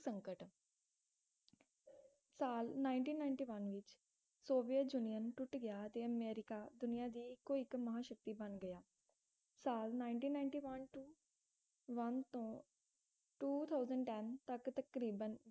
ਸਾਲ nineteen ninety one ਵਿਚ Soviet Union ਟੁੱਟ ਗਿਆ ਤੇ ਅਮਰੀਕਾ ਦੁਨੀਆਂ ਦੀ ਇੱਕੋਇੱਕ ਮਹਾਂਸ਼ਕਤੀ ਬਣ ਗਿਆ ਸਾਲ nineteen ninety one to one ਤੋਂ two thousand ten ਤਕ ਤਕਰੀਬਨ